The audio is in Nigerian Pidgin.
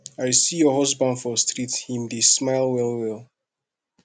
i see your husband for street him dey smile well well